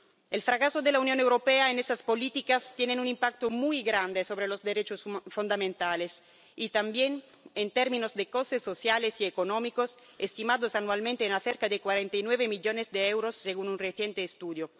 El fracaso de la Unión Europea en esas políticas tiene un impacto muy grande sobre los derechos fundamentales y también en términos de costes sociales y económicos, estimados anualmente en cerca de 49 millones de euros, según un reciente estudio.